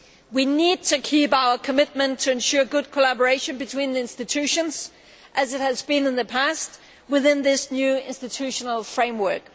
We need to keep our commitment to ensure good collaboration between the institutions as good as it has been in the past within this new institutional framework.